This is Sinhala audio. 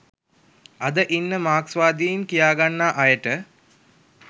අද ඉන්න මාක්ස්වාදීන් කියාගන්නා අයට